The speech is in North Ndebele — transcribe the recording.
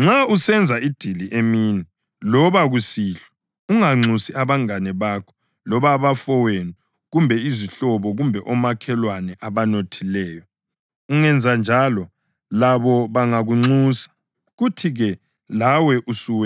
“Nxa usenza idili emini loba kusihlwa unganxusi abangane bakho loba abafowenu kumbe izihlobo kumbe omakhelwane abanothileyo; ungenza njalo labo bangakunxusa, kuthi-ke lawe usuwenanisiwe.